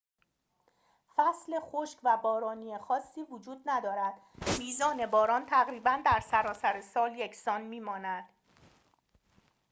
فصل خشک و بارانی خاصی وجود ندارد میزان باران تقریباً در سراسر سال یکسان می‌ماند